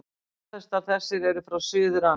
Fjárfestar þessir eru frá Suður-Ameríku.